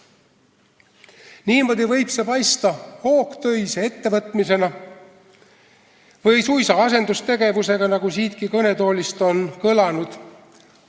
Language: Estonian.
Niimoodi võib see paista hoogtöise ettevõtmisena või suisa asendustegevusena, nagu siitki kõnetoolist on kõlanud.